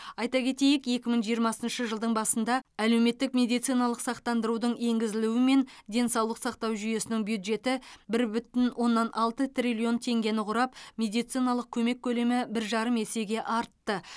айта кетейік екі мың жиырмасыншы жылдың басында әлеуметтік медициналық сақтандырудың енгізілуімен денсаулық сақтау жүйесінің бюджеті бір бүтін оннан алты триллион теңгені құрап медициналық көмек көлемі бір жарым есеге артты